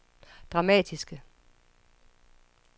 dramatiske